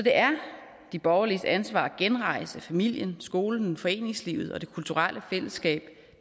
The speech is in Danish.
er de borgerliges ansvar at genrejse familien skolen foreningslivet og det kulturelle fællesskab